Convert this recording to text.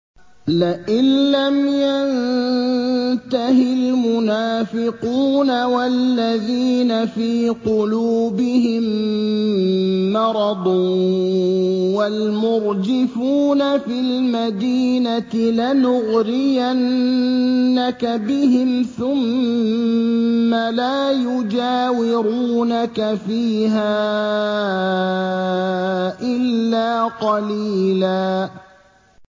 ۞ لَّئِن لَّمْ يَنتَهِ الْمُنَافِقُونَ وَالَّذِينَ فِي قُلُوبِهِم مَّرَضٌ وَالْمُرْجِفُونَ فِي الْمَدِينَةِ لَنُغْرِيَنَّكَ بِهِمْ ثُمَّ لَا يُجَاوِرُونَكَ فِيهَا إِلَّا قَلِيلًا